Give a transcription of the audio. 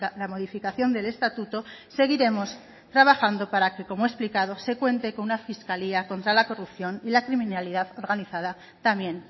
la modificación del estatuto seguiremos trabajando para que como he explicado se cuente con una fiscalía contra la corrupción y la criminalidad organizada también